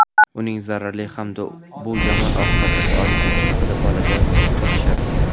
uning zarari hamda bu yomon oqibatlarga olib kelishi haqida bolaga uqtirishadi.